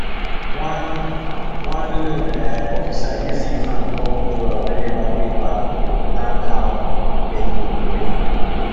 one one loan um officer use en hand call borrower wey never pay back to plan how dem go repay